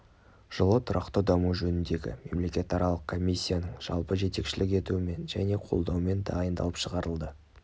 жылы тұрақты даму жөніндегі мемлекетаралық комиссияның жалпы жетекшілік етуімен және қолдауымен дайындалып шығарылды